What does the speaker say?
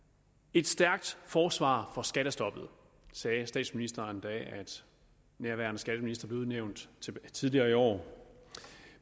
et stærkt forsvar for skattestoppet sagde statsministeren da nærværende skatteminister blev udnævnt tidligere i år